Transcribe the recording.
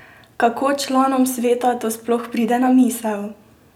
Kako članom sveta to sploh pride na misel?